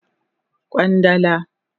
Kwandala